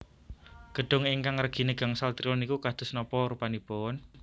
Gedung ingkang regine gangsal triliun niku kados napa rupanipun?